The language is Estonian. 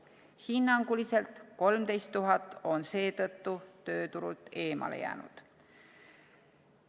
Hinnanguliselt 13 000 on seetõttu tööturult eemale jäänud.